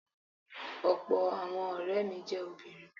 Ọ̀pọ̀ àwọn ọ̀rẹ́ mi jẹ́ obìnrin.